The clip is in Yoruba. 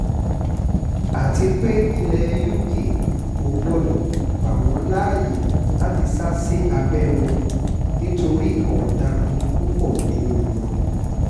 àti pé ilẹ̀ uk kò gbọ́dọ̀ gbà wọ́n láàyè láti sá sí abẹ́ wọn nítorí ọ̀daràn ní púpọ̀ nínú wọn